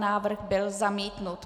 Návrh byl zamítnut.